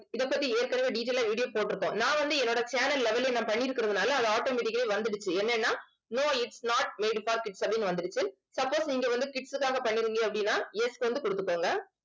இதைப்பத்தி ஏற்கனவே detail ஆ video போட்டிருப்போம். நான் வந்து என்னோட channel level ல நான் பண்ணியிருக்கறதுனால அது automatic ஆவே வந்திடுச்சு என்னன்னா no its not made for kids அப்படின்னு வந்துருக்கு suppose நீங்க வந்து kids க்காக பண்ணிருந்தீங்க அப்படின்னா yes வந்து கொடுத்துக்கோங்க